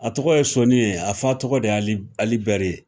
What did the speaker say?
A tɔgɔ ye soni ye a fa tɔgɔ de ye alibɛri ye